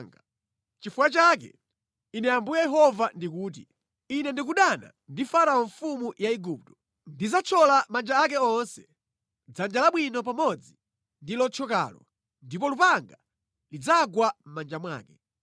Nʼchifukwa chake Ine Ambuye Yehova ndikuti, Ine ndikudana ndi Farao mfumu ya Igupto. Ndidzathyola manja ake onse; dzanja labwino pamodzi ndi lothyokalo, ndipo lupanga lidzagwa mʼmanja mwake.